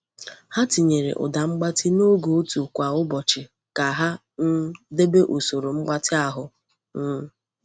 Ha tinyere ụda mgbatị n’oge otu kwa ụbọchị ka ha um debe usoro mgbatị ahụ. um